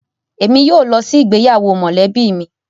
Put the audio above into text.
Emi yóò lo si igbeyawo molebi mi